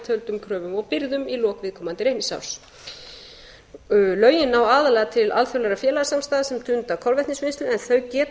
töldum kröfum og birgðum í lok viðkomandi reikningsárs lögin ná aðallega til alþjóðlegra félagasamstæða sem stunda kolvetnisvinnslu en þau geta